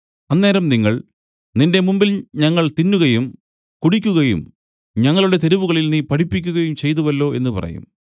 അന്നേരം നിങ്ങൾ നിന്റെ മുമ്പിൽ ഞങ്ങൾ തിന്നുകയും കുടിക്കുകയും ഞങ്ങളുടെ തെരുവുകളിൽ നീ പഠിപ്പിക്കയും ചെയ്തുവല്ലോ എന്നു പറയും